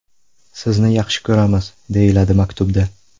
Sizni yaxshi ko‘ramiz”, deyiladi maktubda.